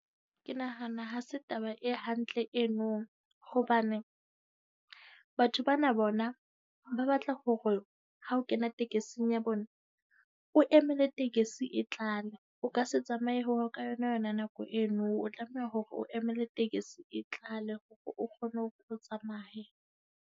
Ke nahana ha se taba e hantle eno hobane batho bana bona ba batla hore ha o kena tekesing ya bona, o emele tekesi e tlale. O ka se tsamaye hore ka yona yona nako eno o tlameha hore o emele tekesi e tlale hore o kgone hore o tsamaye.